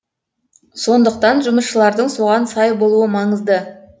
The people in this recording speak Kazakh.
сондықтан жұмысшылардың соған сай болуы маңызды